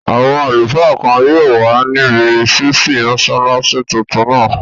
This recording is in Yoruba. Àwọn àlùfáà kan yóò wà níbi ṣísí mọ́sálásí tuntun náà